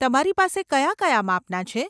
તમારી પાસે કયા કયા માપના છે?